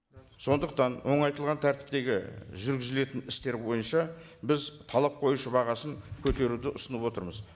сондықтан оңайтылған тәртіптегі жүргізілетін істер бойынша біз талап қоюшы бағасын көтеруді ұсынып отырмыз